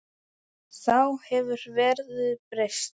Þá hefur verðið breyst.